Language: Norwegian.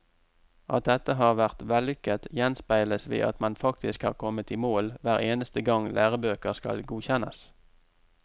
At dette har vært vellykket, gjenspeiles ved at man faktisk har kommet i mål hver eneste gang lærebøker skal godkjennes.